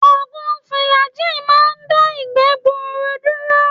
Ògùn Fùlàgíì máa ń dá ìgbẹ́ gbuuru dúró.